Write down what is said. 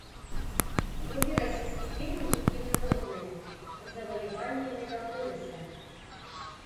вруби российский фильм дикие животные завоевание мегаполиса